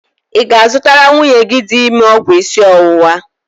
Ị ga-azụtara nwunye gị dị ime ọgwụ isi ọwụwa?